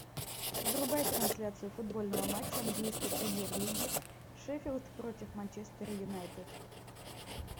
врубай трансляцию футбольного матча английской премьер лиги шеффилд против манчестера юнайтед